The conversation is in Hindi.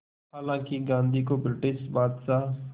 हालांकि गांधी को ब्रिटिश बादशाह